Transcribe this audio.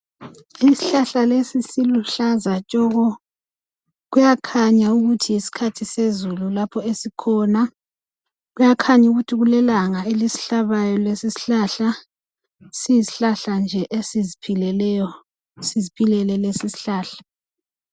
Isihlahlakesi siluhlaza tshoko! Kuyakhanya ukuthi yisikhathi sezulu lapho esikhona. Kuyakhanya ukuthi kulelanga kapha esikhona Yisihlahla nje esiziphilekeyo. Siziphilele lesisihlahla.